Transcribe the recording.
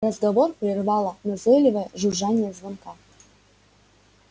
разговор прервало назойливое жужжание звонка